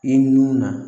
I nun na